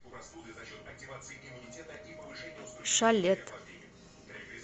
шалет